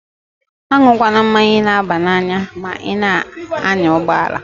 A nwukwana mmanya na-aba n'anya ma i na-anya ụgbọalaǃ